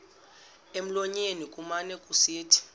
emlonyeni kumane kusithi